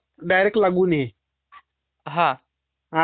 आताच्या अकाउंट ला आपल्याले तयार करावे लागते.